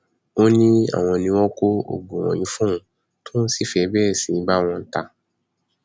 ó ní àwọn ni wọn ń kó oògùn wọnyí fóun tóun sì fẹẹ bẹrẹ sí í bá wọn ta á